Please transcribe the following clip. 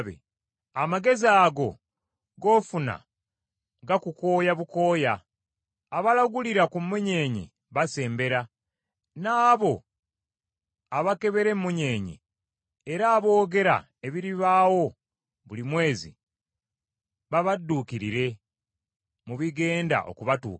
Amagezi ago g’ofuna gakukooya bukooya. Abalagulira ku munyeenye basembera, n’abo abakebera emmunyeenye, era aboogera ebiribaawo buli mwezi, babadduukirire mu bigenda okubatuukako.